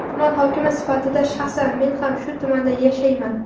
Tuman hokimi sifatida shaxsan men ham shu tumanda yashayman.